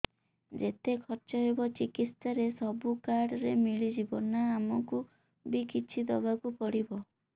ଯେତେ ଖର୍ଚ ହେବ ଚିକିତ୍ସା ରେ ସବୁ କାର୍ଡ ରେ ମିଳିଯିବ ନା ଆମକୁ ବି କିଛି ଦବାକୁ ପଡିବ